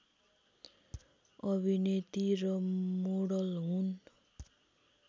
अभिनेती र मोडल हुन्